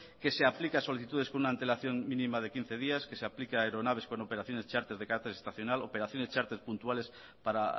que se aplica a solicitudes con una antelación mínima de quince días que se aplica a aeronaves con operaciones charter de carácter estacional operaciones charter puntuales para